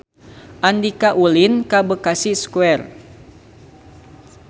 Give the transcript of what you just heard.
Andika ulin ka Bekasi Square